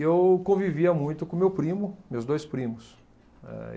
E eu convivia muito com meu primo, meus dois primos. Eh